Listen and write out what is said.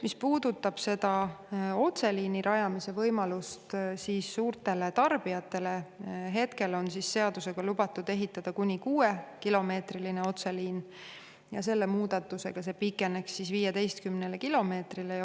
Mis puudutab otseliini rajamise võimalust suurtele tarbijatele, siis hetkel on seadusega lubatud ehitada kuni 6-kilomeetrine otseliin ja selle muudatusega pikeneks see 15 kilomeetrini.